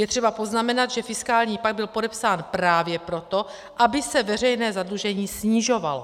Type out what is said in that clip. Je třeba poznamenat, že fiskální pakt byl podepsán právě proto, aby se veřejné zadlužení snižovalo.